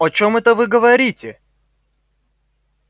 о чём это вы говорите